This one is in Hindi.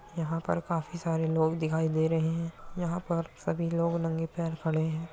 यहाँ पर काफी सारे लोग दिखाई दे रहे हैं। यहाँ पर सभी लोग नंगे पैर खड़े हैं।